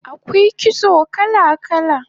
Akwai kitso kala kala